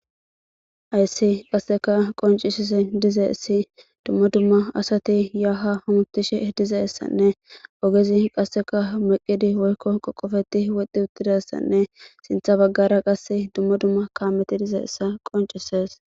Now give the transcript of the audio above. Hayssi qassekka qonccisizay dizayssi dumma dumma asati ya ha hamutishe dizayassanne ogezi qasseka meqidi woykko qoqoppeti wodhi uttidayssane siththa bagara qasse dumma dumma kaameti dizayssa qonccises.